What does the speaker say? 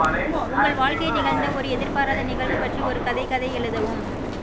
உங்கள் வாழ்க்கையில் நிகழ்ந்த ஒரு எதிர்பாராத நிகழ்வு பற்றி ஒரு கதை கதை எழுதவும்